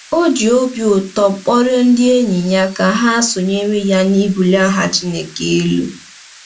O ji obi ụtọ kpọrọ ndị enyi ya ka ha sonyere ya n’ịbulie aha Chineke elu.